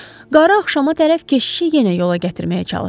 Qarı axşamüstü tərəf keşişi yenə yola gətirməyə çalışdı.